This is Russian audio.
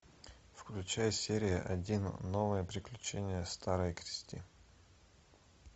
включай серия один новые приключения старой кристин